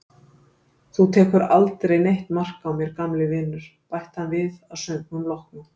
Þú tekur aldrei neitt mark á mér, gamli vinur, bætti hann við að söngnum loknum.